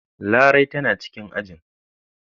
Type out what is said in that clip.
Larai tana cikin ajin.